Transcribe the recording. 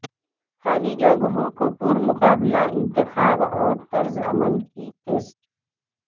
خالی جگہوں کو پر مقابلہ انتخاب اور طرز عمل کے ٹیسٹ